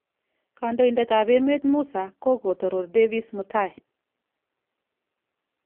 Kondoidat ab emet Musa kogotoror Davis mutai